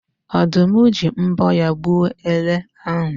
Ọ̀dụ́m ji mbọ́ ya gbuo ele ahụ